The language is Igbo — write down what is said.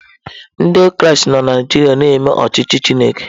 Ndị Kraịst nọ na Naịjirịa na-eme ọchịchị Chineke